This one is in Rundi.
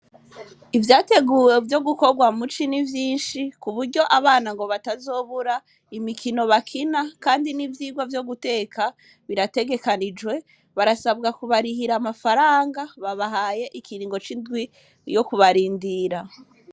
Ivyateguwe vyo gukorwa mu ci ni vyinshi, ku buryo abana ngo batazobura imikino bakina, kandi n'ivyigwa vyo guteka birategekanijwe, barasabwa kubarihira amafaranga, babahaye ikiringo c'indwi yo kubarindira.